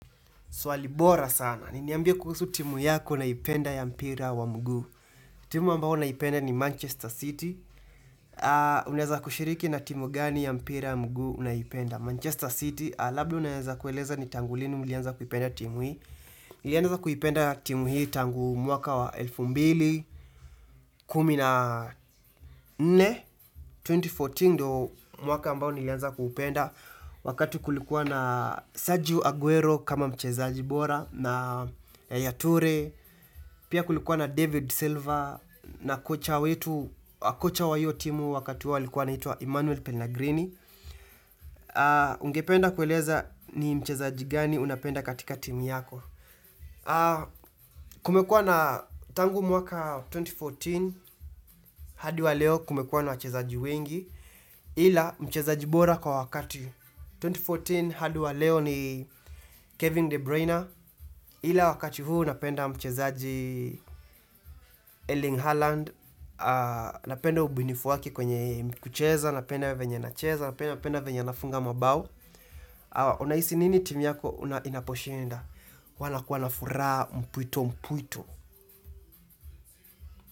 Swali bora sana. Ni niambie kuhusu timu yako unayoipenda ya mpira wa mguu. Timu ambao naipenda ni ''Manchester City''. Unaeza kushiriki na timu gani ya mpira ya mguu unayoipenda. ''Manchester City'' labda unaeza kueleza ni tangu lini mlianza kuipenda timu hii. Nilianza kuipenda timu hii tangu mwaka wa elfu mbili, kumi na nne. 2014 ndio mwaka ambao nlianza kuipenda wakati kulikuwa na Sergio Aguero kama mchezaji bora. Na Yaya Toure, pia kulikuwa na David Silver na kocha wetu, kocha wa hiyo timu wakati huo alikuwa anaitwa ''Emmanuel Pena Green'' ungependa kueleza ni mchezaji gani unapenda katika timu yako kumekuwa na tangu mwaka 2014 hadi wa leo kumekuwa na wachezaji wengi ila mchezaji bora kwa wakati 2014 hadi wa leo ni Kevin De Bruyner ila wakati huu napenda mchezaji Erling Haaland, napenda ubunifu wake kwenye kucheza, napenda venya anacheza, napenda venye anafunga mabao. Unahisi nini timi yako unaposhinda? Wanakuwa na furaha mpuito mpuito.